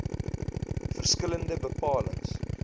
verskil lende bepalings